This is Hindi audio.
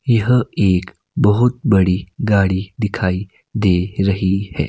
यह एक बहोत बड़ी गाड़ी दिखाई दे रही है।